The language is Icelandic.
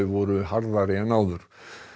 voru harðari en áður